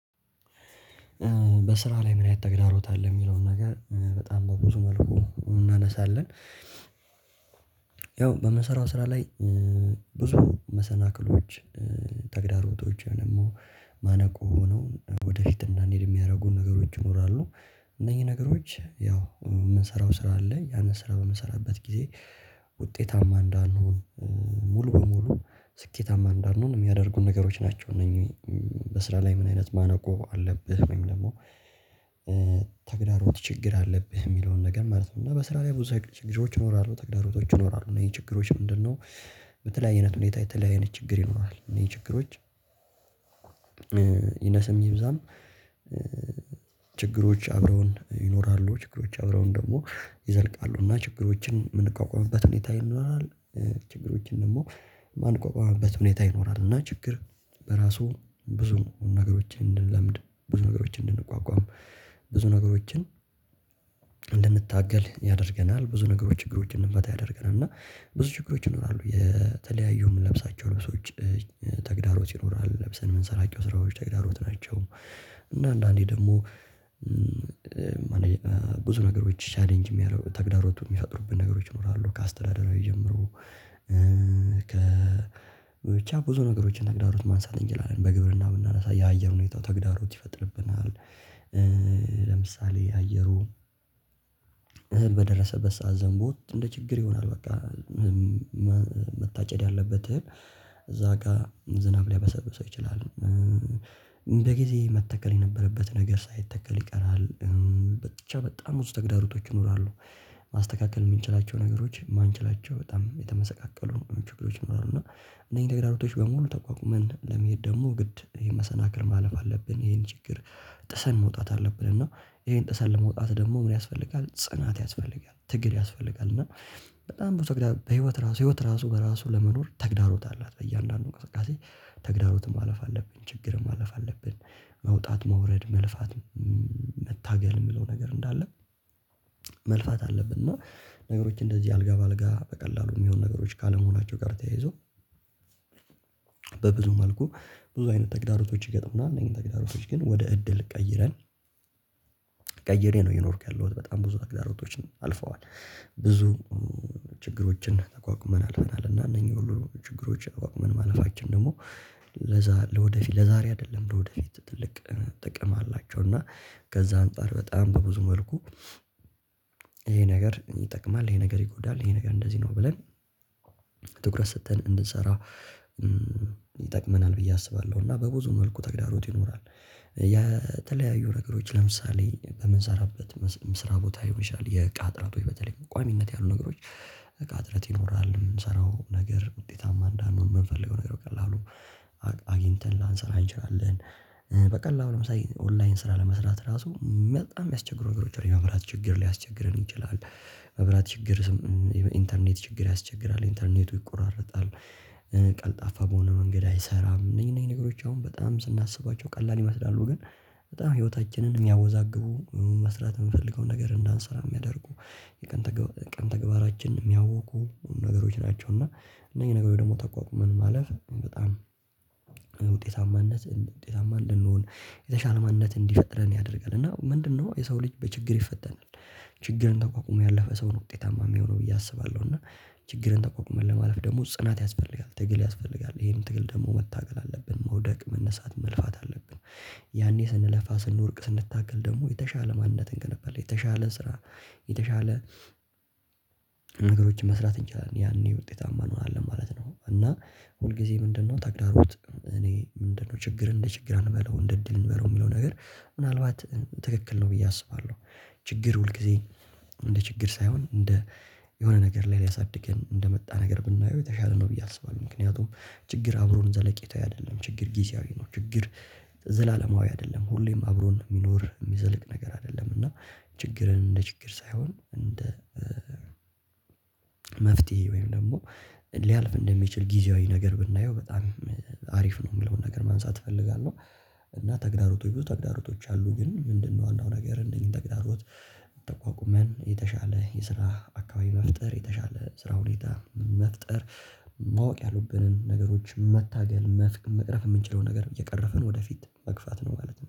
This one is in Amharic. በስራ ላይ ምን አይነት ተግዳሮት የሚለውን ነገር በጣም በብዙ መልኩ እናነሳለን? ያው በምሰራው ስራ ላይ ብዙ መሰናክሎች ተግዳሮቶች ደግሞ ማነቁ ሆኖ ወደፊት እንዳንሄድ የሚያደርጉ ነገሮች ይኖራሉ። እነኚህ ነገሮች ያው የምንሰራው ስራ አለ ያንን ስራ በምንሰራበት ጊዜ ውጤታማ እንዳንሆን ሙሉ በሙሉ ስኬታማ እንዳን ሆን የሚያደርጉን ነገሮች ናቸው። እነኚህ በስራ ላይ ምን አይነት ማነቆ አለብህ ወይም ደግሞ ተግዳሮት ችግር አለብህ የሚለውን ነገር ማለት ነው። እና በስራ ላይ ብዙ ችግሮች ይኖራሉ ተግዳሮቶች ይኖራሉ እነኚህ ችግሮች ምንድነው? በተለያየ አይነት ሁኔታ የተለያየ አይነት ችግር ይኖራል። እነኚህ ችግሮች ይነሰም ይብዛም። ችግሮች አብረውን ይኖራሉ ችግሮች አብረውን ደግሞ ይዘልቃሉ እና ችግሮችን የምንቋቋምበት ሁኔታ ይኖራል። ችግሮችን ደግሞ ማንቋቋምበት ሁኔታ ይኖራል። እና ችግር በራሱ ብዙ ነገሮችን እንድንለምድ ብዙ ነገሮችን እንድንቋቋም ብዙ ነገሮችን እንድንታገል ያደርገናል። ብዙ ነገሮች ችግሮችን እንድንፈታ ያደርገናል። እና ብዙ ችግሮች ይኖራሉ የተለያዩ የምንለብሳቸው ልብሶች ተግዳሮች ይኖራል ለብሰን የምንሰራቸው ስራዎች ተግዳሮት ናቸው። እና አንዳንዴ ደግሞ ብዙ ነገሮች ቻሌንጅ የሚያደርጉ ተግዳሮት የሚፈጥሩብን ነገሮች ይኖራሉ። ከአስተዳደራዊ ጀምሮ ከ ብቻ ብዙ ነገሮችን ተግዳሮት ማንሳት እንችላለን በግብርና ብናነሳ የአየር ሁኔታው ተግዳሮት ይፈጥርብናል። ለምሳሌ አየሩ በደረሰበት ሰዓት ዘንቦ እንደ ችግር ይሆናል በቃ መታጨድ ያለበት እህል እዛ ጋር ዝናብ ሊያበሰብሰው ይችላል። እንደ ጊዜ መተከል የነበረበት ነገር ሳይተከል ይቀራል። ብቻ በጣም ብዙ ተግዳሮቶች ይኖራሉ። ማስተካከል የምንችላቸው ነገሮች የማንችላቸው በጣም የተመሰቃቀሉ ችግሮች ይኖራሉ። እና እነዚህ ተግራሮቶች በሙሉ ተቋቁመን ለመሄድ ደግሞ ግድ የመሰናክል ማለፍ አለብን ይሄን ችግር ጥሰን መውጣት አለብን። እና ይሄን ጥሰን ለመውጣት ደግሞ ምን ያስፈልጋል ጽናት ያስፈልጋል ትግል ያስፈልጋል። እና በጣም ብዙ ተግዳሮት በህይወት ራሱ ህይወት ራሱ በራሱ ለመኖር ተግዳሮት አላት። በእያንዳንዱ እንቅስቃሴ ተግዳሮትን ማለፍ አለብን ችግርም ማለፍ አለብን። መውጣት መውረድ መልፋት መታገል የሚለው ነገር እንዳለ መልፋት አለብን። እና ነገሮች እንደዚህ አልጋ በአልጋ በቀላሉ የሚሆኑ ነገሮች ካለመሆናቸው ጋር ተያይዞ። በብዙ መልኩ ብዙ አይነት ተግዳሮቶች ይገጥሙና እነዚህን ተግዳሮቶች ግን ወደ እድል ቀይረን። ቀይሬ ነው እየኖርኩ ያለሁት በጣም ብዙ ተግዳሮቶችን አልፈዋል ብዙ ችግሮችን ተቋቁመን አልፈናል። እና እነኚህን ሁሉ ችግሮች ተቋቁመን ማለፋችን ደግሞ ለዛ ለወደፊት ለዛሬ አይደለም ለወደፊት ትልቅ ጥቅም አላቸው። እና ከዛ አንፃር በጣም በብዙ መልኩ ይሄ ነገር ይጠቅማል። ይሄ ነገር ይጎዳል ይሄ ነገር እንደዚህ ነው ብለን ትኩረት ሰጥተን እንድንሰራ ይጠቅመናል ብዬ አስባለሁ። እና በብዙ መልኩ ተግዳሮት ይኖራል። የተለያዩ ነገሮች ለምሳሌ በምንሰራበት መስርያ ቦታ ልሆን ይችላል የእቃ እጥረት በተለይ ቋምነት ያሉ ነገሮች። እቃ እጥረት ይኖራል የምንሰራው ነገር ውጤታማ እንዳንሆን የምንፈልገው ነገር በቀላሉ አግኝተን ላንሰራ እንችላለን። በቀላሉ ለምሳሌ ኦንላይን ስራ ለመስራት ራሱ በጣም የሚያስቸግሩ ነገሮች አሉ የመብራት ችግር ሊያስቸግረን ይችላል። መብራት ችግር ኢንተርኔት ችግር ያስቸግራል ኢንተርኔቱ ይቆራረጣል። ቀልጣፋ በሆነ መንገድ አይሰራም። እነዚህ እነዚህ ነገሮች አሁን በጣም ስናስባቸው ቀላል ይመስላሉ ግን በጣም ህይወታችንን የሚያወዛግቡ መስራት የምንፈልገውን ነገር እንዳንሰራ የሚያደርጉ የቀን ተግባራችን የሚያውኩ ነገሮች ናቸው። እና እነኚህ ነገሮች ደግሞ ተቋቁመን ማለፍ በጣም ውጤታማነት ውጤታማ እንድንሆን የተሻለ ማንነት እንዲፈጥረን ያደርጋል። እና ምንድነው የሰው ልጅ በችግር ይፈተናል? ችግርን ተቋቁሞ ያለፈ ሰው ነው ውጤታማ የሚሆነው ብዬ አስባለሁ። እና ችግርን ተቋቁመን ለማለፍ ደግሞ ጽናት ያስፈልጋል ትግል ያስፈልጋል ይሄን ትግል ደግሞ መታገል አለብን መውደቅ መነሳት መልፋት አለብን። ያኔ ስንለፋ ስንወድቅ ስንታገል ደግሞ የተሻለ ማንነት እንገነባለን የተሻለ ስራ የተሻለ ነገሮችን መስራት እንችላለን። ያኔ ውጤታማ እንሆናለን ማለት ነው። እና ሁልጊዜ ምንድነው ታግዳሮት እኔ ምንድነው ችግር እንደ ችግር አንበለው እንደ እድል እንመረው የሚለው ነገር ምናልባት ትክክል ነው? ብዬ አስባለሁ። ችግር ሁልጊዜ እንደ ችግር ሳይሆን እንደ የሆነ ነገር ላይ ሊያሳድገን እንደመጣ ነገር ብናየው የተሻለ ነው። ብዬ አስባለሁ። ምክንያቱም ችግር አብሮን ዘለቄታዊ አይደለም። ችግር ጊዜያዊ ነው። ችግር ዘላለማዊ አይደለም። ሁሌም አብሮን የሚኖር የሚዘልቅ ነገር አይደለም። እና ችግርን እንደ ችግር ሳይሆን እንደ መፍትሄ ወይም ደግሞ ሊያልፍ እንደሚችል ጊዜያዊ ነገር ብናየው በጣም አሪፍ ነው። የምለውን ነገር ማንሳት እፈልጋለሁ። እና ተግዳሮቶች ብዙ ተግዳሮቶች አሉ ግን ምንድነው? ዋናው ነገር እነኚህን ተግዳሮት ተቋቁመን የተሻለ የስራ አካባቢ መፍጠር የተሻለ ስራ ሁኔታ መፍጠር ማወቅ ያሉብንን ነገሮች መታገል መቅረፍ የምንችለውን ነገር እየቀረፍን ወደፊት መግፋት ነው። ማለት ነው